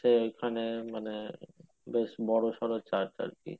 ওইখানে মানে বেশ বড়ো সরো church আরকি